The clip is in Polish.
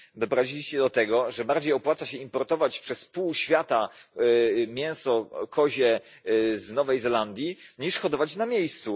Doprowadziliście do tego, że bardziej opłaca się importować przez pół świata mięso kozie z Nowej Zelandii, niż hodować na miejscu.